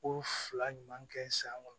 Ko fila ɲuman kɛ san kɔnɔ